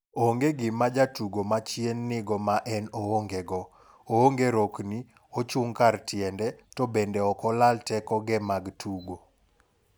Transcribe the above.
onge gima jatugo machien nigo ma en oonge go, oonge rokni, ochung' kar tiende, to bende ok olal tekoge mag tugo.